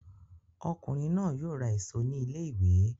Ọkùnrin náà yóò ra èso ní ilé-ìwé!